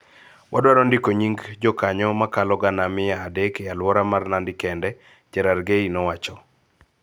Wadwaro ndiko nying� jokanyo mokalo gana mia adek e alwora mar Nandi kende, Cherargei nowacho.